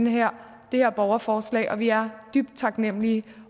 her borgerforslag og vi er dybt taknemlige